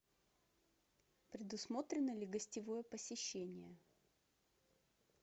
предусмотрено ли гостевое посещение